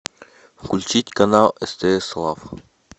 включить канал стс лав